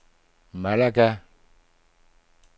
Malaga